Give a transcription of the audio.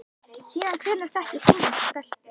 Síðan hvenær þekkir þú þessa stelpu?